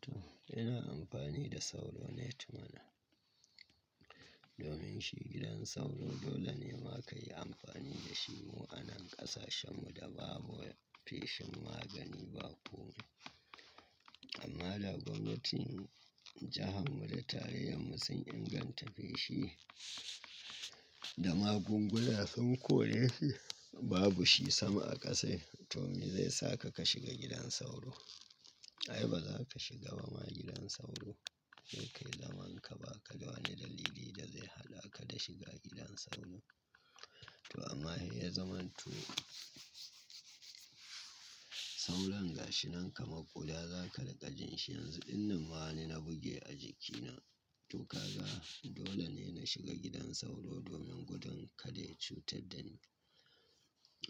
To, ina amfani da sauro net mana. Domin shi gidan sauro dole ne ma ka yi amfani da shi mu a nan ƙasashen mu da babu feshin magani ba komai. Amma da gomnatin jihar mu da tarayyar mu sun inganta feshi da magunguna. Sun kore shi, babu shi sama a ƙasa. To me zai saka ka shiga gidan sauro? Ai ba za ka shiga ba ma gidan sauro. Sai kai zaman ka ba ka wani dalili da zai haɗa ka da shiga gidan sauro. To amma in ya zama to sauron gashi nan kamar ƙuda za ka riƙa jin shi yanzu. Inna ma wani na buge a jikina. To kaga dole ne na shiga gidan sauro domin gudun kada ya cutar da ni.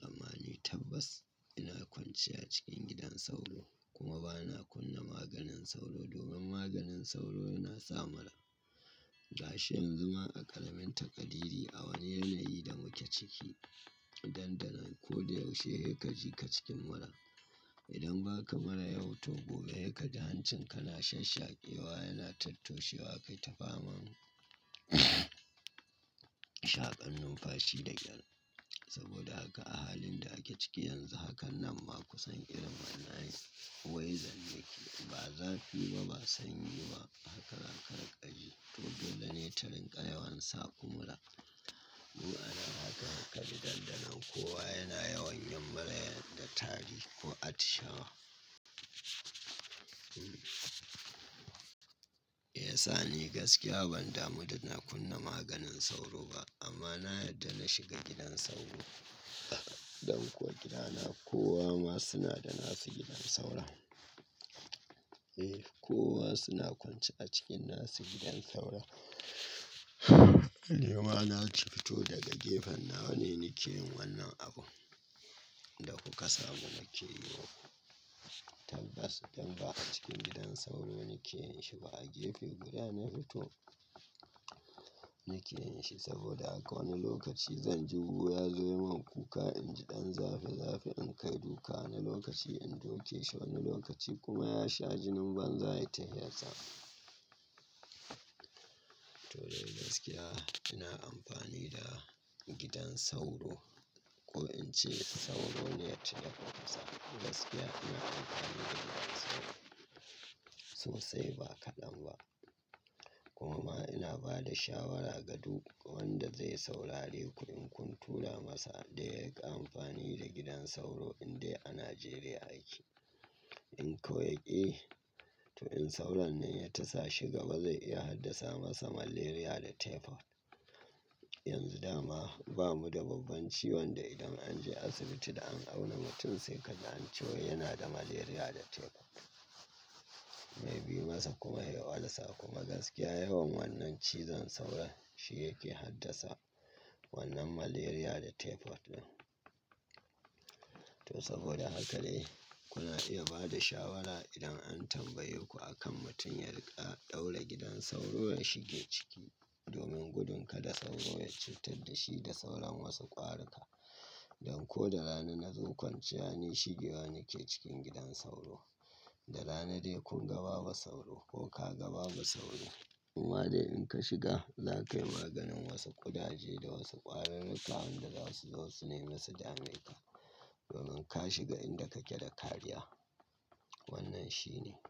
Amma ni tabbas ina kwanciya cikin gidan sauro kuma ba na kunna maganin sauro domin maganin sauro yana sa mura. Gashi yanzu ma a ƙaramin takadi iri a wane yanayi da muke ciki, dandanon ko da yaushe ya ka ji ka cikin mura. Idan ba ka mura yau to gobe ya ka da hancin ka na shashake wa yana tattoshe wa kai ta fama shaƙan numfashi da kyar. Saboda haka a halin da ake ciki yanzu hakan nan ma kusan irin mana'in wai zan miƙe. Ba zafi ba, ba sanyi ba haka za ka riƙa ji. To dole ne tarin ka yawan saku mura. Zuwa na haka haka da daddare kowa yana yawan yin mura yana da tari ko atishawa. Eh sa ni gaskiya ban damu da na kunna maganin sauro ba amma na yadda na shiga gidan sauro. Don kuwa gidana kowa ma suna da nasa gidan sauro. Eh kowa suna kwance a cikin nasa gidan sauro. Ni ma na ci fito daga gefen nawa ne nake yin wannan abun da kuka samu nake yi wa. Tabbas idan ba a cikin gidan sauro nake yin shi ba a gefe guda na fito nake yin shi. Saboda haka wani lokaci zan ji wuya zai yi min kuka, in jiɗan zafi zafi in kai duka wani lokaci in duke shi wani lokaci kuma ya sha jinin banza ya yi ta hiyar sa. To dai gaskiya ina amfani da gidan sauro ko in ce sauro net yaƙar ƙasa. Gaskiya ina amfani da gidan sauro sosai ba kaɗan ba. Kuma ina ba da shawara ga duk wanda zai saurari ku in kun tura masa da yai ƙa amfani da gidan sauro in dai a Najeriya yake. In kuwa ya ƙi, to in sauron nan ya tasa shi gaba zai iya haddasa masa malaria da typhoid. Yanzu dama bamu da babban ciwon da idan an je asibiti da an auna mutum sai ka ji an ce wa yana da malaria da typhoid. Mai bi masa kuma ya walsa kuma gaskiya yawan wannan cizon sauron shi yake haddasa wannan malaria da typhoid ɗin. To saboda haka dai kuna iya ba da shawara idan an tambaye ku akan mutum yarika ɗaura gidan sauro ya shige ciki domin gudun kada sauro ya cutar da shi da sauran wasu ƙwari ka. Don ko da rana na zo kwanciya ne shi gewa nake cikin gidan sauro. Da rana dai kun ga babu sauro ko ka ga ba bu sauro. Kuma dai in ka shiga za ka yi maganin wasu ƙudaje da wasu ƙwarur ruka wanda zasu zo su nema su da maika. Domin ka shiga inda kake da kariya. Wannan shi ne.